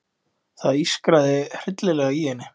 Það ískraði hryllilega í henni.